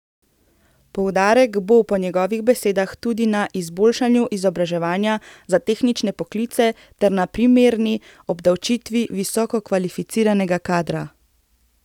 Poudarek bo po njegovih besedah tudi na izboljšanju izobraževanja za tehnične poklice ter na primerni obdavčitvi visokokvalificiranega kadra.